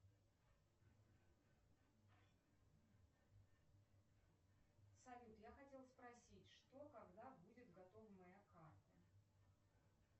салют я хотела спросить что когда будет готова моя карта